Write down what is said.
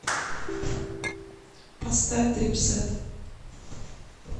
поставь дрипсэт